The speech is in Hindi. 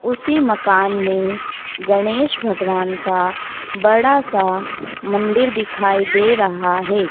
उसी मकान मे गणेश भगवान का बड़ा सा मंदिर दिखाई दे रहा है।